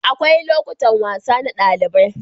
Akwai lokutan wasa na ɗalibai.